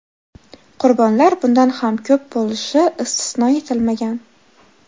Qurbonlar bundan ham ko‘p bo‘lishi istisno etilmagan.